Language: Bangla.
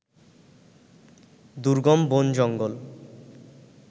দুর্গম বন-জঙ্গল